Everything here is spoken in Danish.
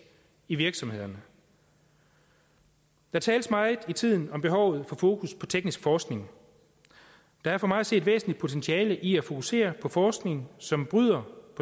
i virksomhederne der tales meget i tiden om behovet for fokus på teknisk forskning der er for mig at se et væsentligt potentiale i at fokusere på forskning som bryder